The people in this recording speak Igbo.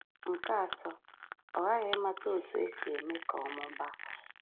Nke atọ, ọ ghaghị ịmata otú e si eme ka ọ mụbaa